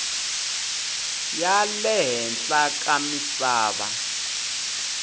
ya le henhla ka misava